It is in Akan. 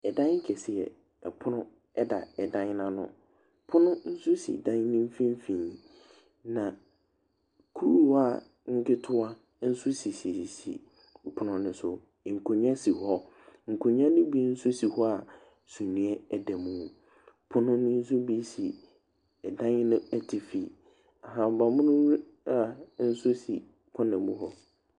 Dan kɛseɛ, pono da dan no ano. Pono nso si dan no mfimfini. Na kuruwaa nketewa nso sisisis pono no so. Nkonnwa si wɔ. Nkonnwa no bi nso si hɔ a sumiiɛ da mu. Pono no nso bi si ɛdan no atifi. Ahabammono a nso si corner mu hɔ.